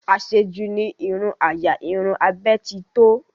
Àṣejù ní irun àyà, irun abẹ́ titọ́